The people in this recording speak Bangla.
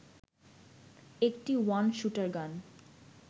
১টি ওয়ান শুটারগান